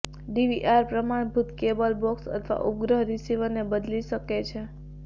DVR પ્રમાણભૂત cable box અથવા ઉપગ્રહ રીસીવરને બદલી શકે છે